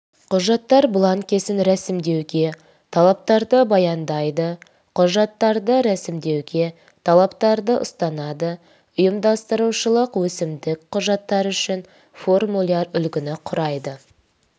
құжаттар бланкісін ресімдеуге талаптарды баяндайды құжаттарды ресімдеуге талаптарды ұстанады ұйымдастырушылық өкімдік құжаттар үшін формуляр үлгіні құрайды